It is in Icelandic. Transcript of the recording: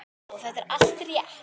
Já, þetta er allt rétt.